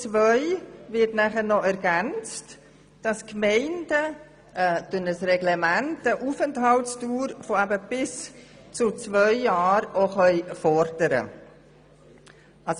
In Absatz 2 wird nachher noch ergänzt, dass die Gemeinden durch ein Reglement eine Aufenthaltsdauer von bis zu zwei Jahren fordern können.